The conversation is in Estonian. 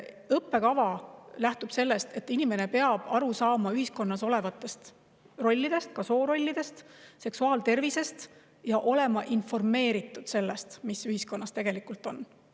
Õppekava lähtub sellest, et inimene peab aru saama ühiskonnas olevatest rollidest, ka soorollidest, seksuaaltervisest ja olema informeeritud sellest, mis ühiskonnas tegelikult on.